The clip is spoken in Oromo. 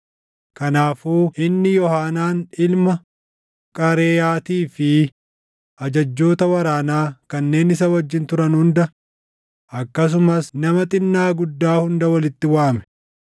Kanaafuu inni Yoohaanaan ilma Qaareyaatii fi ajajjoota waraanaa kanneen isa wajjin turan hunda, akkasumas nama xinnaa guddaa hunda walitti waame.